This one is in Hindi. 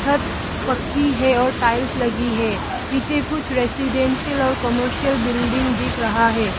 छत पक्की है और टाइल्स लगी है पीछे कुछ रेजिडेंशियल और कमर्शियल बिल्डिंग दिख रहा है।